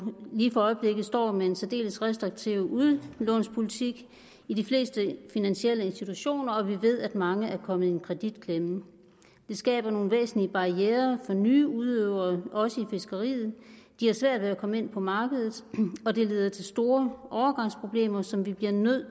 lige for øjeblikket står med en særdeles restriktiv udlånspolitik i de fleste finansielle institutioner og vi ved at mange er kommet i en kreditklemme det skaber nogle væsentlige barrierer for nye udøvere også i fiskeriet de har svært ved at komme ind på markedet og det leder til store overgangsproblemer som vi bliver nødt